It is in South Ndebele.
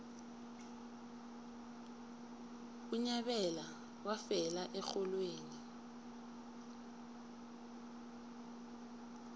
unyabela wafela erholweni